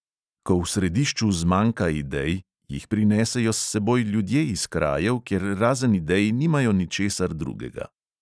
Ko v središču zmanjka idej, jih prinesejo s seboj ljudje iz krajev, kjer razen idej nimajo ničesar drugega.